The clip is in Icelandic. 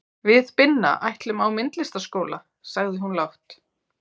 Við Binna ætlum á myndlistarskóla, sagði hún lágt.